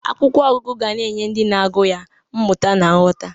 Akwụkwọ ọgụgụ ga na-enye ndị na-agụ ya mmụta na nghọta.